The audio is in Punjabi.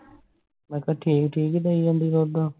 ਮੈ ਕਿਹਾ ਠੀਕ ਠੀਕ ਦਈ ਜਾਂਦੀ ਦੁੱਧ